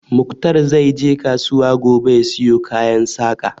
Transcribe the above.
Muktar zai je kasuwa gobe ya siyo kayan Saƙa